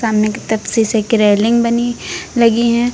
सामने की तरफ शीशे की रेलिंग बनी लगी हैं।